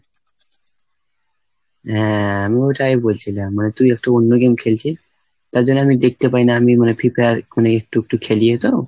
হ্যাঁ আমি ওটাই বলছিলাম। মানে তুই একটু অন্য game খেলছিস, তার জন্য আমি দেখতে পাই না। আমি মানে free fire এখনও একটু একটু খেলিও তো।